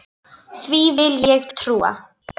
Því vil ég trúa!